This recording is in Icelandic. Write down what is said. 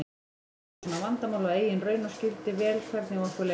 Þekkti svona vandamál af eigin raun og skildi vel hvernig okkur leið.